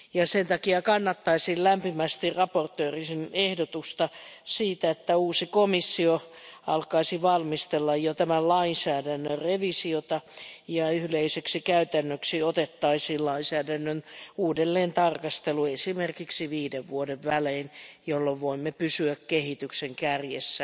Sen takia kannattaisin lämpimästi esittelijän ehdotusta siitä, että uusi komissio alkaisi valmistella jo tämän lainsäädännön revisiota ja yleiseksi käytännöksi otettaisiin lainsäädännön uudelleentarkastelu, esimerkiksi viiden vuoden välein, jolloin voimme pysyä kehityksen kärjessä